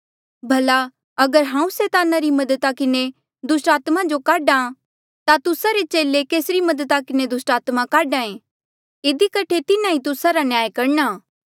भला अगर हांऊँ सैताना री मददा किन्हें दुस्टात्मा जो काढा ता तुस्सा रे चेले केसरी मददा किन्हें दुस्टात्मा काढा ऐें इधी कठे तिन्हा ई तुस्सा रा न्याय करणा